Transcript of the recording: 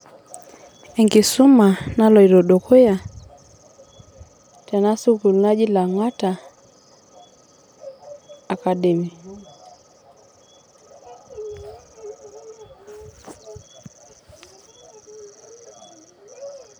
Enkisuma naloito dukuya tena sukuul naji Langata academyy